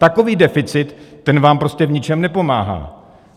Takový deficit, ten vám prostě v ničem nepomáhá.